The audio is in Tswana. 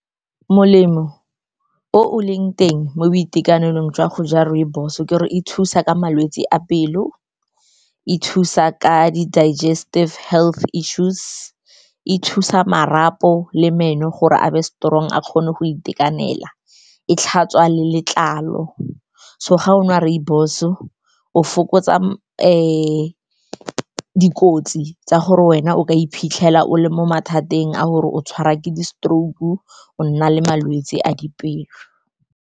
Molemo o o leng teng mo boitekanelong jwa go ja rooibos-o ke gore e thusa ka malwetse a pelo, e thusa ka di-digestive health issues, e thusa marapo le meno gore a be strong, a kgone go itekanela, e tlhatswa le letlalo. So ga o nwa rooibos-o, o fokotsa [u, dikotsi tsa gore wena o ka iphitlhela o le mo mathateng a gore o tshwarwa ke di-stroke, o nna le malwetse a dipelo.